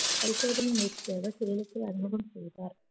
பரிசோதனை முயற்சி செய்வர் சேலத்தில் அறிமுகம் செய்தார்